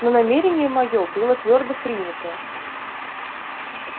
но намерение моё было твёрдо принято